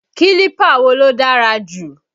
Kílípà wo ló dára jù?